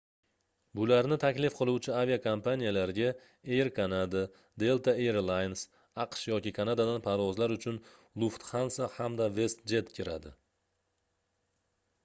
bularni taklif qiluvchi aviakompaniyalarga air canada delta air lines aqsh yoki kanadadan parvozlar uchun lufthansa hamda westjet kiradi